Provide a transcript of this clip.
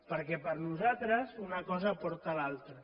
perquè per nosaltres una cosa porta l’altra